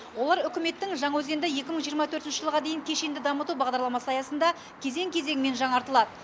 олар үкіметтің жаңаөзенді екі мың жиырма төртінші жылға дейін кешенді дамыту бағдарламасы аясында кезең кезеңімен жаңартылады